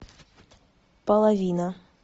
половина